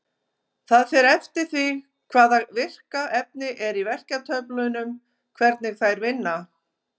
Það fer eftir því hvaða virka efni er í verkjatöflunum hvernig þær vinna.